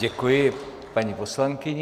Děkuji paní poslankyni.